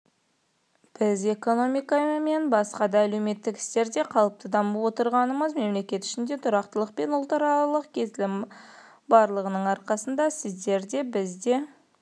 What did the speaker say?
біз экономика мен басқа да әлеуметтік істерде қалыпты дамып отырғанымыз мемлекет ішінде тұрақтылық пен ұлтаралық келісім барлығының арқасында сіздер бізде де